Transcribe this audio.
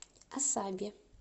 асаби